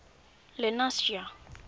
lenasia